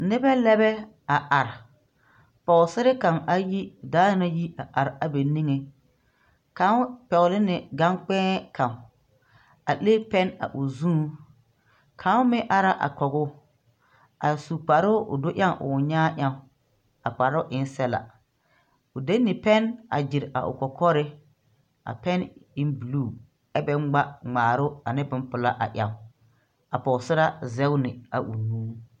Nibɛlɛbɛ a are poosɛre kaŋ ayi daa na yi a are bɛ niŋeŋ kaŋ pɛgleni gankp̃ēē kaŋ a le pɛn a o zuŋ kaŋ mɛŋ ara a kɔguu a su kparoo o do eɛŋ o nyaa ɛnŋ a kparoo en sɛbla o de ni pɛn a gyire o kɔkɔre a pɛn en bluu ɛ bɛ ngma ngmaarɔɔ ne bonpilaa a ɛŋ a poosɛraa zegne a nu.